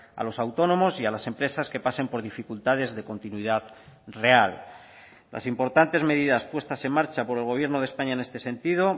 a los autónomos y a las empresas que pasen por dificultades de continuidad real las importantes medidas puestas en marcha por el gobierno de españa en este sentido